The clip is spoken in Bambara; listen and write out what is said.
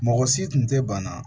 Mɔgɔ si tun tɛ bana